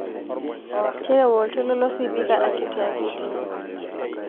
terewa oltoilo losipika akitiakiti